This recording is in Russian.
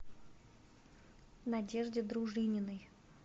надежде дружининой